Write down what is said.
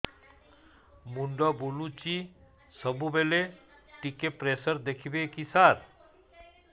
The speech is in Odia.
ମୁଣ୍ଡ ବୁଲୁଚି ସବୁବେଳେ ଟିକେ ପ୍ରେସର ଦେଖିବେ କି ସାର